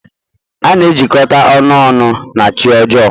A na-ejikọta ọnụ ọnụ na chi ọjọọ.